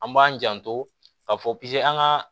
An b'an janto ka fɔ an ka